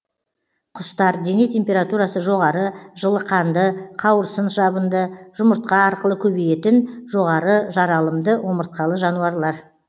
құстар дене температурасы жоғары жылықанды қауырсын жабынды жұмыртқа арқылы көбейетін жоғары жаралымды омыртқалы жануарлар